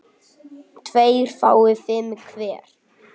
tveir fái fimm hver